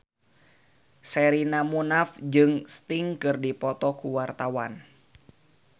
Sherina Munaf jeung Sting keur dipoto ku wartawan